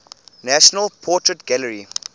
national portrait gallery